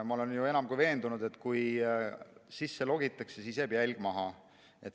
Ma olen enam kui veendunud, et kui sisse logitakse, siis jääb jälg maha.